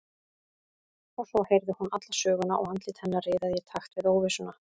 Og svo heyrði hún alla söguna og andlit hennar riðaði í takt við óvissuna.